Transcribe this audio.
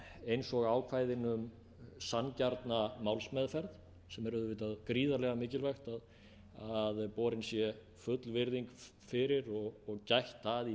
eins og ákvæðin um sanngjarna málsmeðferð sem er auðvitað gríðarlega mikilvægt að borin sé full virðing fyrir og gætt að í